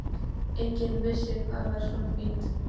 Enginn vissi hvað var svona fínt.